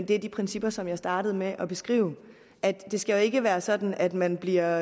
det er de principper som jeg startede med at beskrive det skal ikke være sådan at man bliver